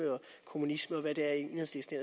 kommunisme og hvad det er enhedslisten